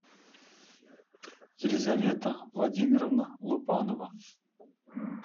елизавета владимировна лупанова